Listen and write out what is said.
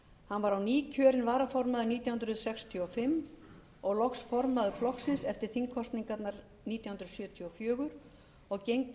hann var á ný kjörinn varaformaður nítján hundruð sextíu og fimm og loks formaður flokksins eftir þingkosningarnar nítján hundruð sjötíu og fjögur og gegndi